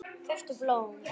Kauptu blóm.